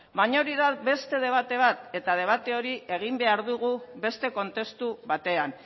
baina hori da beste debate bat eta debate hori egin behar dugu beste kontestu batean